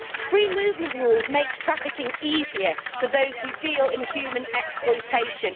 Free movement rules make trafficking easier for those who deal in human exploitation.